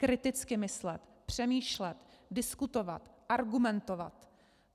Kriticky myslet, přemýšlet, diskutovat, argumentovat.